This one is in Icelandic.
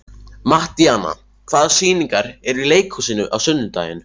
Mattíana, hvaða sýningar eru í leikhúsinu á sunnudaginn?